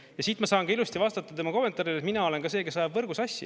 Ja siit ma saan ka ilusti vastata tema kommentaarile, et mina olen ka see, kes ajab võrgu sassi.